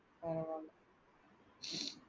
பரவால்ல.